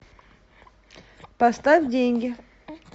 поставь деньги